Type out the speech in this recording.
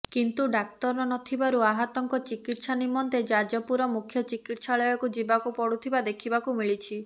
କିନ୍ତୁ ଡାକ୍ତର ନଥିବାରୁ ଆହତଙ୍କ ଚିକିତ୍ସା ନିମନ୍ତେ ଯାଜପୁର ମୁଖ୍ୟ ଚିକିତ୍ସାଳୟକୁ ଯିବାକୁ ପଡ଼ୁଥିବା ଦେଖିବାକୁ ମିଳିଛି